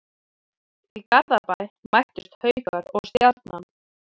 Í Garðabæ mættust Haukar og Stjarnan.